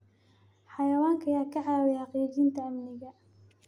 Xayawaanka ayaa ka caawiya xaqiijinta amniga.